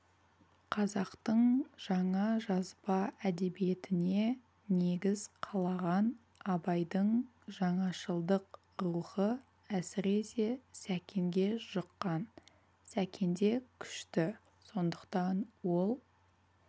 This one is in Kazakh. қазақтың жаңа жазба әдебиетіне негіз қалаған абайдың жаңашылдық рухы әсіресе сәкенге жұққан сәкенде күшті сондықтан ол